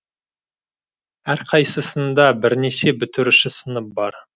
әрқайсысында бірнеше бітіруші сынып бар